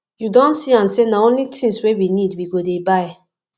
you don see am sey na only tins wey we need we go dey buy